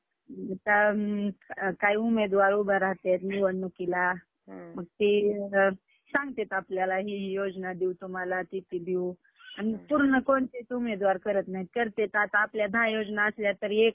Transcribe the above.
आता काही उमेदवार उभं राहतात निवडणुकीला. मग ते सांगतात आपल्याला हि हि योजना देऊ तुम्हाला, ती ती देऊ आणि पूर्ण कोणतेच उमेदवार करत नाही. करतेय तर आपल्या दहा योजना असल्या तरी एक